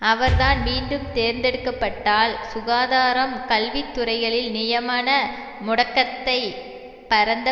அவர் தான் மீண்டும் தேர்ந்தெடுக்க பட்டால் சுகாதாரம் கல்வி துறைகளில் நியமன முடக்கத்தை பரந்த